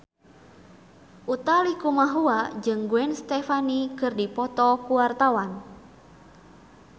Utha Likumahua jeung Gwen Stefani keur dipoto ku wartawan